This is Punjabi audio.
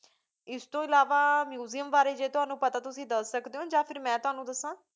ਇਸ ਤੋ ਇਲਾਵਾ museum ਬਰੀ ਜੀ ਤ੍ਵਾਨੁ ਪਤਾ ਤੁਸੀਂ ਦਸ ਸਕਦੀ ਓਹ ਯਾ ਫਿਰ ਮੈਂ ਤ੍ਵਾਨੁ ਦਸਾਂ